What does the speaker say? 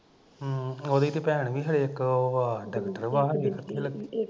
ਹਮ ਉਹਦੀ ਤੇ ਭੈਣ ਵੀ ਹਲੇ ਇੱਕ ਉਹ ਆ ਡਾਕਟਰ ਵਾ